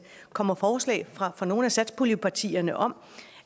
kommer forslag fra fra nogle af satspuljepartierne om